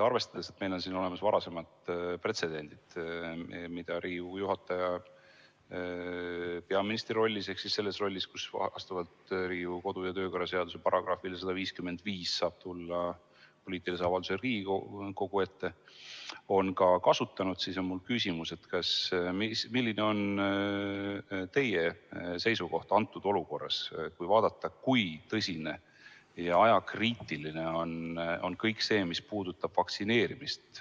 Arvestades, et meil on siin olemas varasemad pretsedendid, mida Riigikogu esimees on peaministri rollis ehk selles rollis, kus vastavalt Riigikogu kodu- ja töökorra seaduse §‑le 155 saab tulla poliitilise avaldusega Riigikogu ette, ka kasutanud, on mul küsimus: milline on teie seisukoht praeguses olukorras, vaadates, kuivõrd tõsine ja ajakriitiline on kõik see, mis puudutab vaktsineerimist,